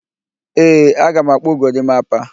Ee, aga m akpụ gorimapa